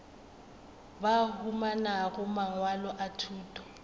ba humanago mangwalo a thuto